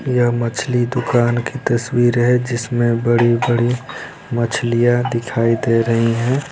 यह मछली दुकान की तस्वीर है जिसमे बड़ी-बड़ी मछलियाँ दिखाई दे रही है।